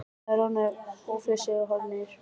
Þær roðnuðu, flissuðu og horfðu niður.